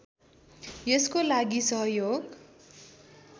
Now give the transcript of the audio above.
यसको लागि सहयोग